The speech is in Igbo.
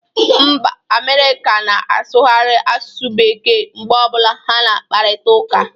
Mba Amerịka na asụkari asụsụ bekee mgbe ọbụla ha na akparita ụka